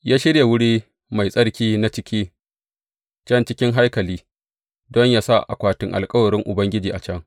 Ya shirya wuri mai tsarki na ciki can cikin haikali don yă sa akwatin alkawarin Ubangiji a can.